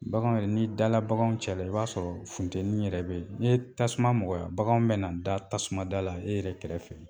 Baganw ye n'i dala baganw cɛla i b'a sɔrɔ funteni yɛrɛ be ye. N'i ye tasuma mɔgɔya, baganw bɛna da tasuma da la e yɛrɛ kɛrɛfɛ.